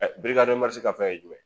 ka fɛn ye jumɛn?